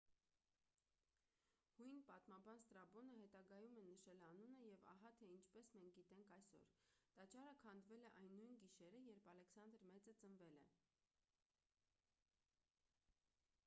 հույն պատմաբան ստրաբոնը հետագայում է նշել անունը և ահա թե ինչպես մենք գիտենք այսօր տաճարը քանդվել է այն նույն գիշերը երբ ալեքսանդր մեծը ծնվել է